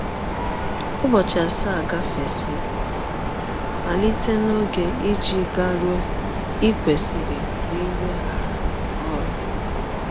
Ụbọchị asaa gafesịa malite n’ọge i ji garụọ i kwesịrị iweghara ọrụ. ”